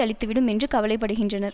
அளித்துவிடும் என்று கவலைப்படுகின்றனர்